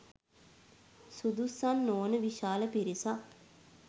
සුදුස්සන් නොවන විශාල පිරිසක්